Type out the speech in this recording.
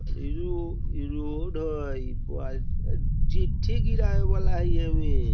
ई रो ई रोड हई ई चिट्ठी गिरावे वाला हई एम्मे।